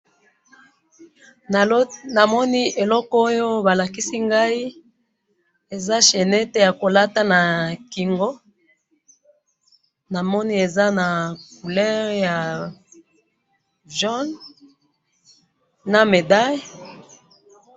Namoni eloko oyo balakisi ngayi, eza chainette yakolata nakingo, namoni eza na couleur ya jaune, na medaille.